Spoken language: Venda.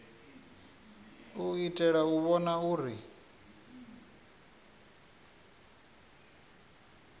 u itela u vhona uri